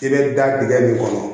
I bɛ da dingɛ min kɔnɔ